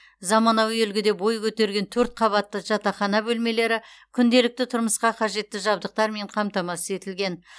заманауи үлгіде бой көтерген төрт қабатты жатақхана бөлмелері күнделікті тұрмысқа қажетті жабдықтармен қамтамасыз етілген